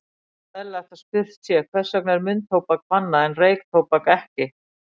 Þá er eðlilegt að spurt sé, hvers vegna er munntóbak bannað en reyktóbak ekki?